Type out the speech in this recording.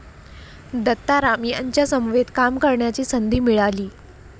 दत्ताराम यांच्या समवेत काम करण्याची संधी मिळाली.